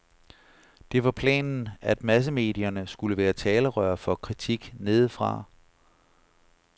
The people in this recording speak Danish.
Det var planen, at massemedierne skulle være talerør for kritik nedefra.